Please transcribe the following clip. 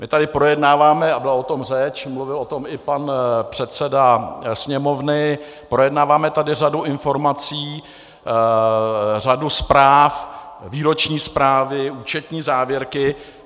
My tady projednáváme, a byla o tom řeč, mluvil o tom i pan předseda Sněmovny, projednáváme tady řadu informací, řadu zpráv, výroční zprávy, účetní závěrky.